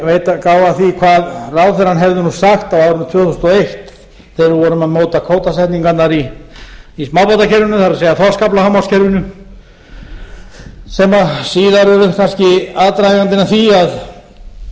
gá að því vað ráðherrann hefði sagt á árinu tvö þúsund og eitt þegar við vorum að móta sóknareiningarnar í smábátakerfinu það er þorskaflahámarkskerfinu sem síðar urðu kannski aðdragandinn að því að eftir að menn höfðu kvótabundið ufsann ýsuna og steinbítinn þá fóru menn